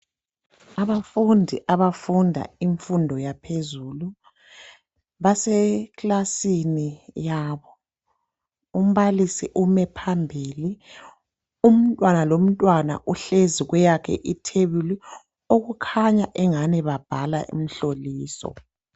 Abafundi abafunda imfundo yaphezulu Baseklasini yabo. Umbalisi ume phambili, umntwana lomntwana uhlezi kweyakhe ithebuli. Okukhanya ingani babhala imhloliso.